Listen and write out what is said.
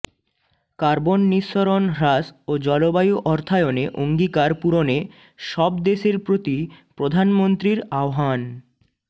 carbon নিঃসরণ হ্রাস ও জলবায়ু অর্থায়নে অঙ্গীকার পূরণে সব দেশের প্রতি প্রধানমন্ত্রীর আহ্বান